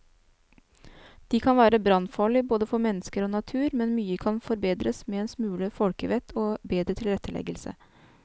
De kan være brannfarlige både for mennesker og natur, men mye kan forbedres med en smule folkevett og bedre tilretteleggelse.